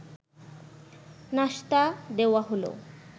নাশতা দেওয়া হলো